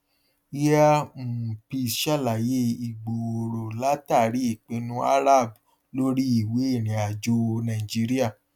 air um peace sàlàyé ìgbòòrò látàrí ìpinnu arab lórí ìwé ìrìnàjò nàìjíríà